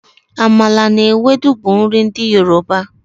Amala na Ewedu bụ nri ndị Yoruba.